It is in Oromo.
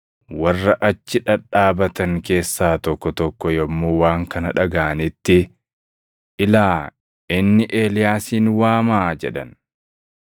Warra achi dhadhaabatan keessaa tokko tokko yommuu waan kana dhagaʼanitti, “Ilaa, inni Eeliyaasin waamaa” jedhan.